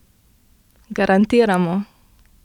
Garantiramo!